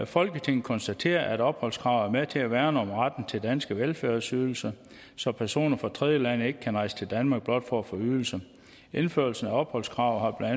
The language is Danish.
folketinget konstaterer at opholdskravet er med til at værne om retten til danske velfærdsydelser så personer fra tredjelande ikke kan rejse til danmark blot for at få ydelser indførelsen af opholdskravet har